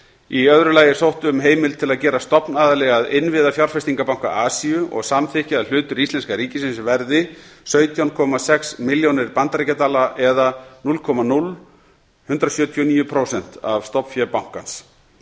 í öðru lagi er sótt um heimild til að gerast stofnaðili að innviðafjárfestingabanka asíu og samþykkja að hlutur íslenska ríkisins verði sautján komma sex milljónir bandaríkjadala eða núll komma núll eitt sjö níu prósent af stofnfé bankans